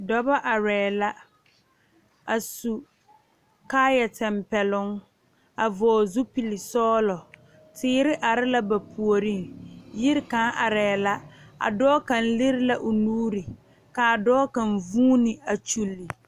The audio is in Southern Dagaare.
Dɔba arɛɛ la a su kaayatɛmpɛloŋ a vɔgle zupilisɔglɔ teere are la ba puoriŋ yiri kaŋ arɛɛ la a dɔɔ kaŋ lere la o nuuri k,a dɔɔ kaŋ vuuni a kyulli.